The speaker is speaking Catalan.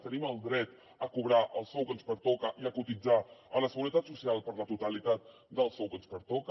tenim el dret a cobrar el sou que ens pertoca i a cotitzar a la seguretat social per la totalitat del sou que ens pertoca